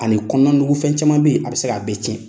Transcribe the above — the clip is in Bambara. Ani kɔnɔna nugu fɛn caman bɛ yen, a bɛ se k'a bɛɛ tiɲɛn.